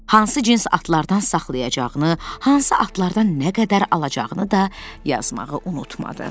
Hansı cins atlardan saxlayacağını, hansı atlardan nə qədər alacağını da yazmağı unutmadı.